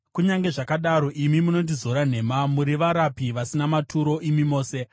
Kunyange zvakadaro, imi munondizora nhema; muri varapi vasina maturo, imi mose!